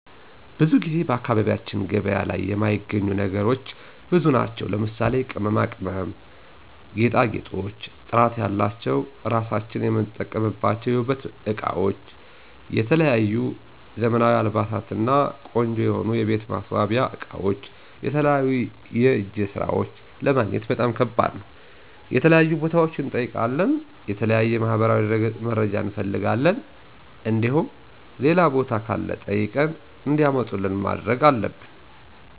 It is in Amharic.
ብዙ ጊዜ በአካባቢያችን ገበያ ላይ የማይገኙ ነገሮች ብዙ ናቸው ለምሳሌ:- ቅመማ ቅመም፣ ጌጣጌጦች፣ ጥራት ያላቸው ራሳችን የምንጠብቅባችው የውበት እቃወች፣ የተለያዩ ዘመናዊ አልባሳት እና ቆንጆ የሆኑ የቤት ማሰዋሲያ አቃወች የተለያዩ የእጀ ሰራወች ለማግኘት በጣም ከባድ ነው። የተለያዩ ቦታዋች እንጠይቃለን የተለያዩ ማህበራዊ ድረገጽ መረጃ እንፍልጋለን እንዲሁም ሌላ ቦታ ካለ ጠይቀን እንዲያመጡልን ማድረግ አለብን።